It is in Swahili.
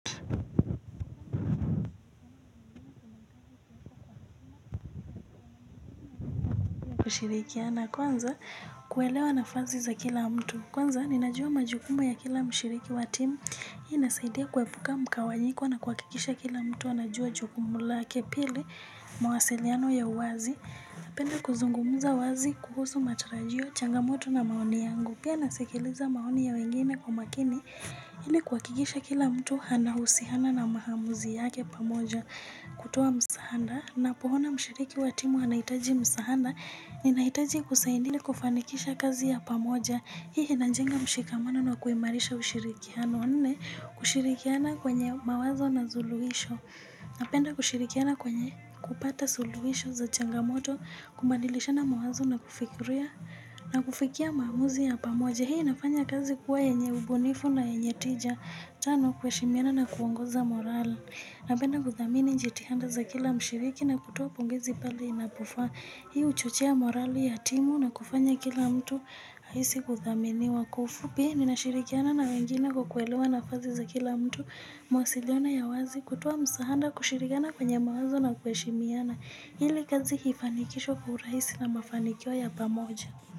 Na kwanza kuelewa na fazi za kila mtu Kwanza ninajua majukumu ya kila mshiriki wa timu Hii nasaidia kuepuka mkawanyiko na kuakikisha kila mtu anajua jukumu lake pili mawasiliano ya uwazi penda kuzungumuza wazi kuhusu matarajio changamoto na maoni yangu Pia nasikiliza maoni ya wengine kwa makini Ili kuakikisha kila mtu hana usihana na mahamuzi yake pamoja kutoa msahanda na pohona mshiriki wa timu ana itaji msahanda Ninahitaji kusain ili kufanikisha kazi ya pamoja Hii inajenga mshikamano na kuimarisha ushirikiano Wanne kushirikiana kwenye mawazo na zuluisho Napenda kushirikiana kwenye kupata suluisho za changamoto Kumadilisha na mawazo na kufikiria na kufikia maamuzi ya pamoja Hii inafanya kazi kuwa yenye ubunifu na yenye tija Tano kueshimiana na kuongoza moral Napenda kuthamini njitihanda za kila mshiriki na kutoa pongezi pale inapofa Hii uchochea morali ya timu na kufanya kila mtu haisi kuthaminiwa kwa ufupi ninashirikiana na wengine kwa kuelewa na fazi za kila mtu mawasiliano ya wazi kutoa msahanda kushirikiana kwenye mawazo na kueshimiana ili kazi hifanikishwe kwa uraisi na mafanikio ya pamoja.